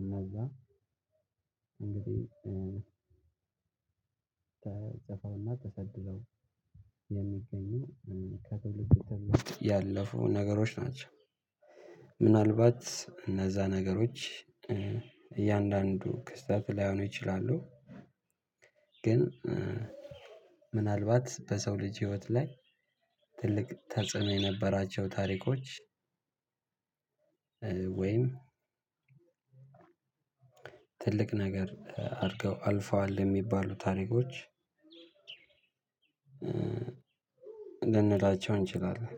እነዛ እንግዲህ ተፅፈውና ተሰድረው የሚገኙ ከትውልድ ትውልድ ያለፉ ነገሮች ናቸው። ምናልባት እነዛ ነገሮች እያንዳንዱ ክስተት ላይሆኑ ይችላሉ። ግን ምናልባት በሰው ልጅ ህይወት ላይ ትልቅ ተጽዕኖ የነበራቸው ታሪኮች። ወይም ትልቅ ነገር አድርገው አልፈዋል የሚባሉ ታሪኮች ልንላቸው እንችላለን።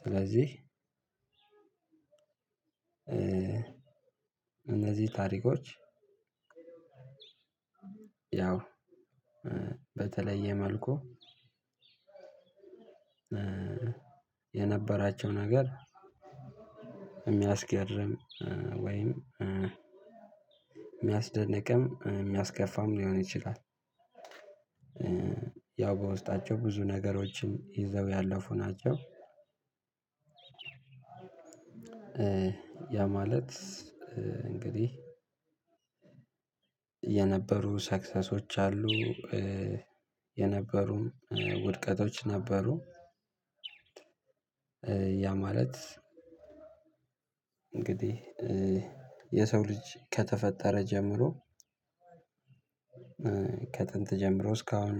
ስለዚህ እነዚህ ታሪኮች ያው በተለየ መልኩ የነበራቸው ነገር የሚያስገርም ወይም የሚያስደንቅም የሚያስከፋም ሊሆን ይችላል። ያው በውስጣቸው ብዙ ነገሮችም ይዘው ያለፉ ናቸው። ያ ማለት እንግዲህ የነበሩ ሰክሰሶች አሉ። የነበሩም ውድቀቶች ነበሩ። ያ ማለት እንግዲህ የሰው ልጅ ከተፈጠረ ጀምሮ ከጥንት ጀምሮ እስካሁን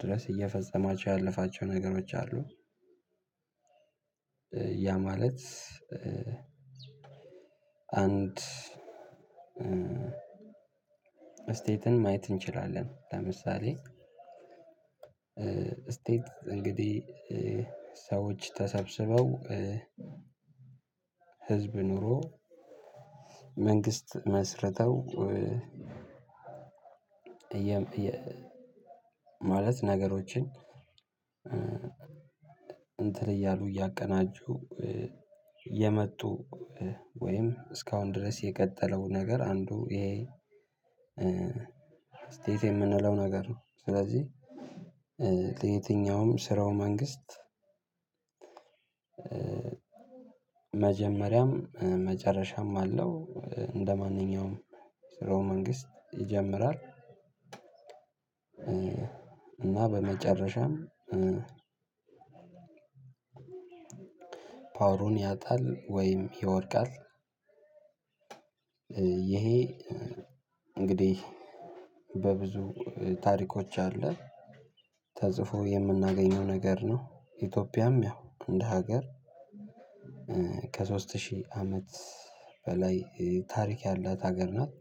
ድረስ እየፈጸማቸው ያለፋቸው ነገሮች አሉ። ያ ማለት አንድ ስቴትን ማየት እንችላለን ለምሳሌ። ስቴት እንግዲህ ሰዎች ተሰብስበው ህዝብ ኑሮ መንግስት መስርተው ማለት ነገሮችን እንትን እያሉ እያቀናጁ የመጡ ወይም እስካሁን ድረስ የቀጠለው ነገር አንዱ ይሄ ስቴት የምንለው ነገር ነው። ስለዚህ ለየትኛውም ስርዎ መንግስት መጀመሪያም መጨረሻም አለው። እንደማንኛውም ስርዎ መንግስት ይጀምራል። እና በመጨረሻም ፓወሩን ያጣል ወይም ይወድቃል። ይሄ እንግዲህ በብዙ ታሪኮች አለ ተጽፎ የምናገኘው ነገር ነው። ኢትዮጵያም ያው እንደ ሀገር ከሶስት ሺህ አመት በላይ ታሪክ ያላት ሀገር ናት።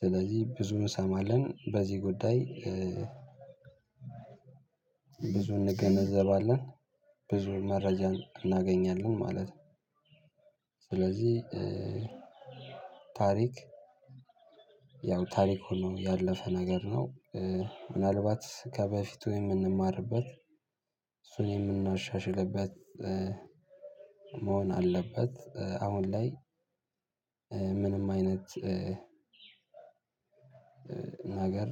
ስለዚህ ብዙ እንሰማለን በዚህ ጉዳይ ብዙ እንገነዘባለን ብዙ መረጃ እናገኛለን ማለት ነው። ስለዚህ ታሪክ ያው ታሪክ ነው ያለፈ ነገር ነው። ምናልባት ከበፊቱ የምንማርበት እሱን የምናሻሽልበት መሆን አለበት። አሁን ላይ ምንም አይነት ነገር